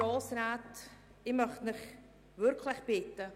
Ich möchte Sie wirklich bitten: